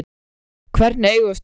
Hvernig eigum við að stjórna þessu?